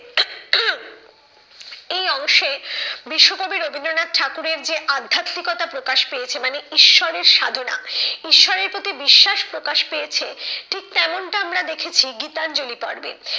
এই অংশে বিশ্বকবি রবীন্দ্রনাথ ঠাকুরের যে অধ্যাত্বিকতা প্রকাশ পেয়েছে মানে, ঈশ্বরের সাধনা, ঈশ্বরের প্রতি বিশ্বাস প্রকাশ পেয়েছে ঠিক তেমনটা আমরা দেখেছি গীতাঞ্জলি পর্বে।